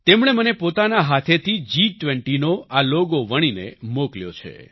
તેમણે મને પોતાના હાથેથી જી20નો આ લોકોએ વણીને મોકલ્યો છે